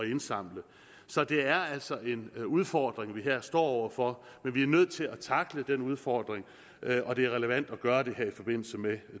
indsamle så det er altså en udfordring vi her står over for men vi er nødt til at tackle den udfordring og det er relevant at gøre det her i forbindelse med